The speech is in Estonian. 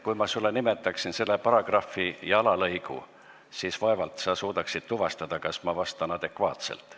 Kui ma sulle nimetan paragrahvi ja alalõigu, siis vaevalt sa suudaksid tuvastada, kas ma vastan adekvaatselt.